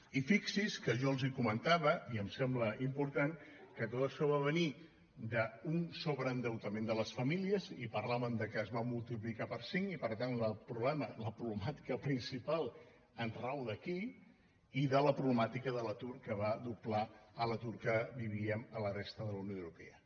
i fixin se que jo els comentava i em sembla important que tot això va venir d’un sobreendeutament de les famílies i parlàvem que es va multiplicar per cinc i per tant la problemàtica principal rau aquí i de la problemàtica de l’atur que va doblar l’atur que vivíem a la resta de la unió europea